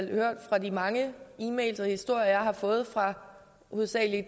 hørt fra de mange e mails og historier jeg har fået fra hovedsagelig